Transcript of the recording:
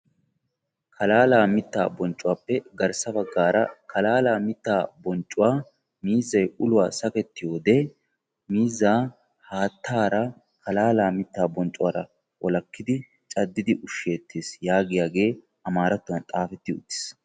Kalala mitta bonccuwappe garssa baggara kalala mitta bonccuwaa miizzay uluwaa sakkettiyoode haattara kalalaa mittaa bonccuwara cadidi walakkidi ushshettees yaagiyaage amarattuwan xaafeti uttiis.